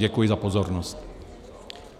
Děkuji za pozornost.